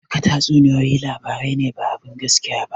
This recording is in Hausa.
Duka tatsuniyoyi labarai ne ba abun gaskiya ba